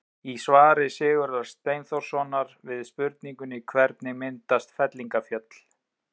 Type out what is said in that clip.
Í svari Sigurðar Steinþórssonar við spurningunni Hvernig myndast fellingafjöll?